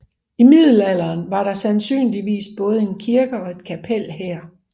I middelalderen var der sandsynligvis både en kirke og et kapel her